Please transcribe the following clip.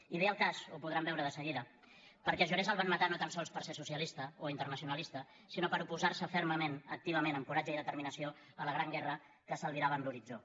i ve al cas ho podran veure de seguida perquè jaurès el van matar no tan sols per ser socialista o internacionalista sinó per oposar se fermament activament amb coratge i determinació a la gran guerra que s’albirava en l’horitzó